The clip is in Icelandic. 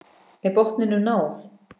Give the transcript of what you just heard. Er botninum náð?